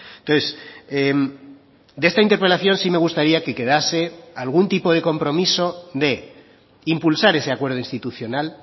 entonces de esta interpelación sí me gustaría que quedase algún tipo de compromiso de impulsar ese acuerdo institucional